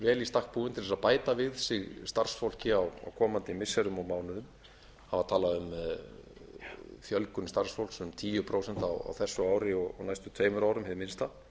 vel í stakk búin til að bæta við sig starfsfólki á komandi missirum og mánuðum hafa talað um fjölgun starfsfólks um tíu prósent á þessu ári og næstu tveimur árum hið minnsta